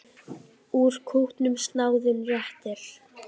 Úr kútnum snáðinn réttir.